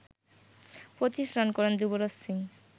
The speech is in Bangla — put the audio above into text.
২৫ রান করেন যুবরাজ সিং